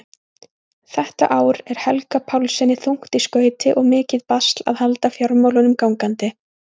Þetta ár er Helga Pálssyni þungt í skauti og mikið basl að halda fjármálunum gangandi.